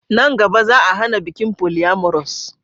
Nan gaba, Za'a hana bikin polyamorous.